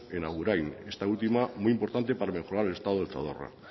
en agurain esta última muy importante para mejorar el estado del zadorra